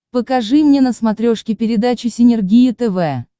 покажи мне на смотрешке передачу синергия тв